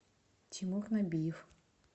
тимур набиев